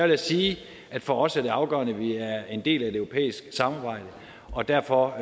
jeg sige at for os er det afgørende at vi er en del af et europæisk samarbejde og derfor